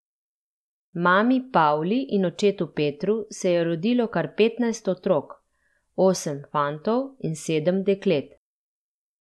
Mami Pavli in očetu Petru se je rodilo kar petnajst otrok, osem fantov in sedem deklet.